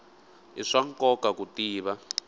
i swa nkoka ku tiva